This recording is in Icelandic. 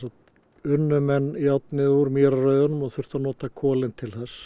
unnu menn járnið úr mýrarrauðanum og þurftu að nota kolin til þess